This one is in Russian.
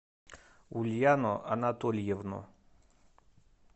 ульяну анатольевну